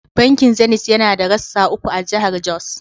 Bankin Zenith yana da rassa uku a jahar Jos.